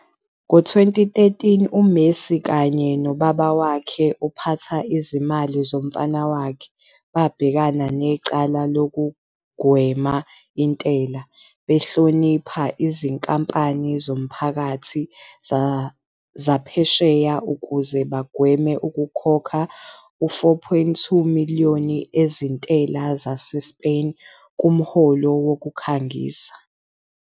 Ngo-2013, uMessi kanye no-ubaba wakhe, ophatha izimali zomfana wakhe, babhekene necala lokugwema intela, behlonipha izinkampani zomphakathi zasephesheya ukuze bagweme ukukhokha u-4.2 million ezintela zaseSpain kumholo wokukhangisa.